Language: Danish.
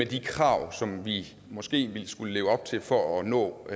de krav som vi måske vil skulle leve op til for at nå